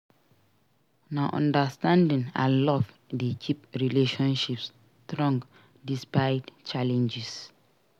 Na understanding and love dey keep relationships strong despite challenges.